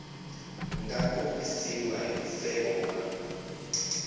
nga kombisiwa hi nseve wa